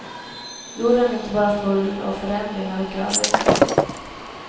Jorden är inte bara full av förändringar och rörelser.